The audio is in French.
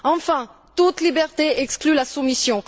Enfin, toute liberté exclut la soumission.